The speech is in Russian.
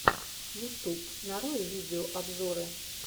ютуб нарой видеообзоры